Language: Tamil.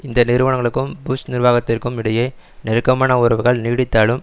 இந்த நிறுவனங்களுக்கும் புஷ் நிர்வாகத்திற்கும் இடையே நெருக்கமான உறவுகள் நீடித்தாலும்